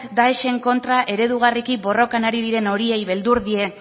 daesen kontra eredugarriki borrokan ari diren horiei beldur die